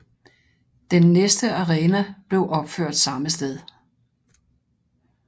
Den næste arena blev opført samme sted